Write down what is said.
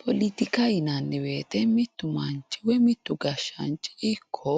Poletikaho yinanni woyte mitu manchi woyi mitu gashaanchi ikko